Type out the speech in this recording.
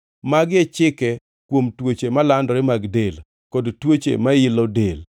Magi e chike kuom tuoche malandore mag del, kod tuoche mailo del,